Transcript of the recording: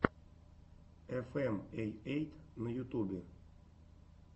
эфэм эй эйт на ютубе